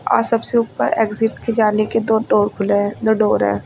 अ सबसे ऊपर एग्जिट के जाने के दो डोर खुले हैं दो डोर हैं।